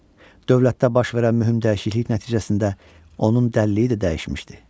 Dövlətdə baş verən mühüm dəyişiklik nəticəsində onun dəliliyi də dəyişmişdi.